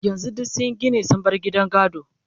yanzun duk sunyi Gini sun bar gidan gado